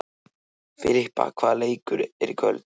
Filippa, hvaða leikir eru í kvöld?